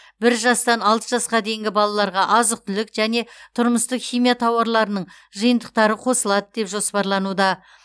бір жастан алты жасқа дейінгі балаларға азық түлік және тұрмыстық химия тауарларының жиынтықтары қосылады деп жоспарлануда